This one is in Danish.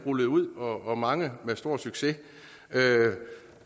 rullet ud og mange med stor succes